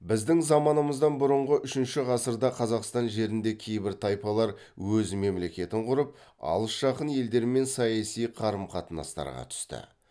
біздің заманымыздан бұрынғы үшінші ғасырда қазақстан жерінде кейбір тайпалар өз мемлекетін құрып алыс жақын елдермен саяси қарым қатынастарға түсті